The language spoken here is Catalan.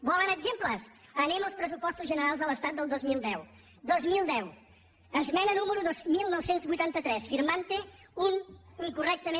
volen exemples anem als pressupostos generals de l’estat del dos mil deu dos mil deu esmena número dos mil nou cents i vuitanta tres firmante un incorrectament